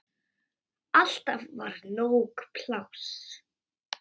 Alltaf var nóg pláss.